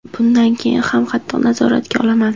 Bundan keyin ham qattiq nazoratga olaman.